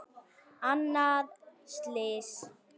Annað slys.